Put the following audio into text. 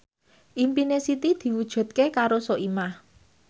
impine Siti diwujudke karo Soimah